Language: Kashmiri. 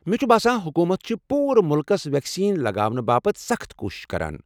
مےٚ چھُ باسان حکوٗمت چھ پوٗرٕ ملکس ویکسیٖن لگاونہٕ باپتھ سخٕت کوٗشش کران۔